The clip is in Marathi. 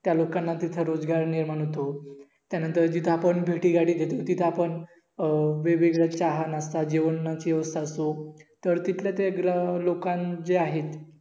त्या लोकांना तिथं रोजगार निर्माण होतो त्या नंतर जिथं आपण भेटी गाडी देतो तिथं आपण अं वेगवेगळा चहा, नास्ता, जेवण, ची व्यवस्था असो तर तिथलं ते ग्रह लोक आहेत